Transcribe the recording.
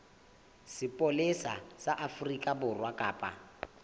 sepolesa sa afrika borwa kapa